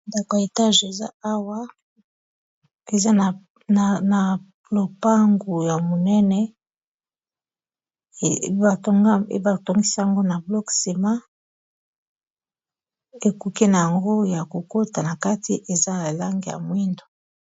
Ndako ya etage eza awa eza na lopangu ya monene ebatongisi yango na block sima ekuki na yango ya kokota na kati eza na langi ya mwindo.